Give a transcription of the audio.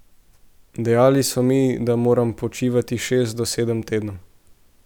Dejali so mi, da moram počivati šest do sedem tednov.